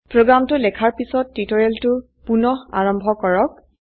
প্ৰোগ্ৰামটো লেখাৰ পিছত টিউটোৰিয়েলটো পুনঃ আৰম্ভ কৰক